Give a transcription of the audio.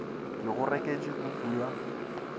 ke go reketše kuku ya